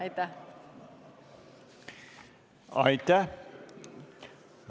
Aitäh!